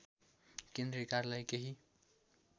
केन्द्रीय कार्यालय केही